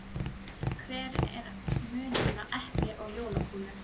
Hver er munurinn á epli og jólakúlu?